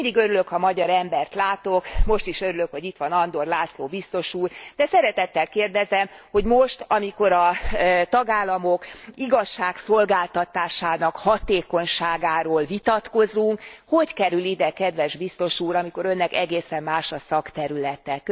Én mindig örülök, ha magyar embert látok, most is örülök, hogy itt van Andor László biztos úr, de szeretettel kérdezem, hogy most, amikor a tagállamok igazságszolgáltatásának hatékonyságáról vitatkozunk, hogy kerül ide kedves Biztos úr, amikor Önnek egészen más a szakterülete?